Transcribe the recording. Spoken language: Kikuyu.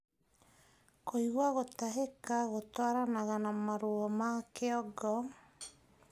Kuigua gutahika gutwaranaga na maruo ma kĩongo